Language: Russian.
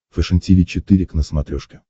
фэшен тиви четыре к на смотрешке